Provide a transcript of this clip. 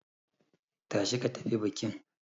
Tashi ka tafi bikin.